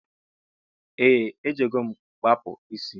Ee ejigom mkpa kpụọ isi.